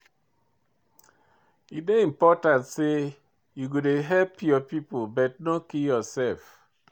E dey important sey you go dey help your pipo but no kill yoursef.